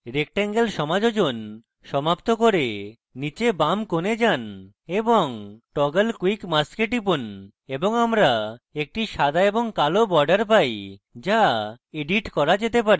rectangle সমাযোজন সমাপ্ত করে নীচে বাম corner যান এবং toggle quick mask a টিপুন এবং আমরা একটি সাদা এবং কালো border পাই যা এডিট করা যেতে পারে